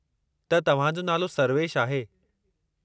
त तव्हां जो नालो सर्वेशु आहे।